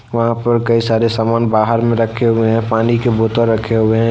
वहां पर कई सारे सामान बाहर में रखे हुए हैं पानी के बोतल रखे हुए।